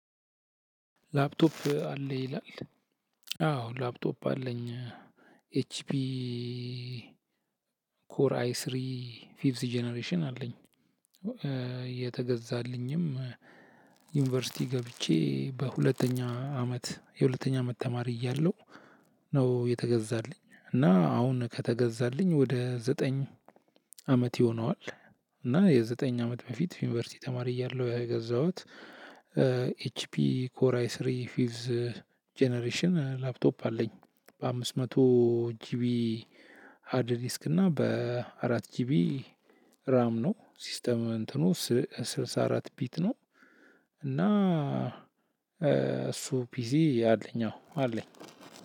ላፕቶፕ አለ ይላል። አዎ ላፕቶፕ አለኝ። ኤች ፒ ኮር አይ ስሪ ፊቭስ ጀነሬሽን አለኝ። የተገዛልኝም ዩኒቨርሲቲ ገብቼ በሁለተኛ አመት የሁለተኛ አመት ተማሪ እያለሁ ነው። የተገዛልኝ እና አሁን ከተገዛልኝ ወደ ዘጠኝ አመት ይሆነዋል። እና የዘጠኝ አመት በፊት ዩኒቨርሲቲ ተማሪ እያለሁ የገዛሁት። ኤችፒ ኮራይ ስሪ ፊቭዝ ጀነሬሽን ላፕቶፕ አለኝ። በአምስት መቶ ጂቢ ሃድ ዲስክ እና በአራት ጅቢ ራም ነው። ሲስተም እንትኑ ስልሳ አራት ቢት ነው። እና እሱ ፒሲ አለኝ አዎ አለኝ።